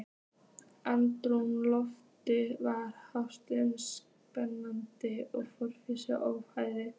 Andrúmsloftið var hlaðið spenningi- og friðlausri óþreyju.